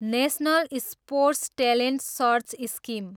national sports talent search scheme